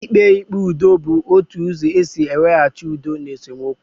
Ikpe ikpe ụdọ bu otu ụzọ esị iwehachi udo n' esemokwu